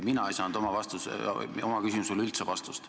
Mina ei saanud oma küsimusele üldse vastust.